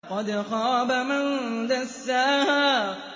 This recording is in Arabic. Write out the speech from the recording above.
وَقَدْ خَابَ مَن دَسَّاهَا